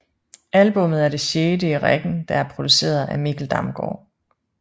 Albummet er det sjette i rækken der er produceret af Mikkel Damgaard